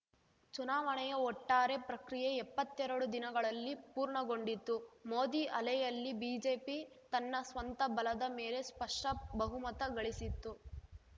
ಚುನಾವಣೆಯ ಒಟ್ಟಾರೆ ಪ್ರಕ್ರಿಯೆ ಎಪ್ಪತ್ತೆರಡು ದಿನಗಳಲ್ಲಿ ಪೂರ್ಣಗೊಂಡಿತ್ತು ಮೋದಿ ಅಲೆಯಲ್ಲಿ ಬಿಜೆಪಿ ತನ್ನ ಸ್ವಂತ ಬಲದ ಮೇಲೆ ಸ್ಪಷ್ಟ ಬಹುಮತ ಗಳಿಸಿತ್ತು